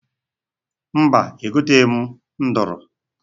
Mba, egoteghi m nduru.